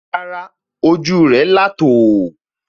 Rárá, ojú rẹ̀ là tò ó